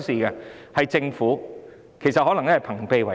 然而，情況其實可能是朋比為奸。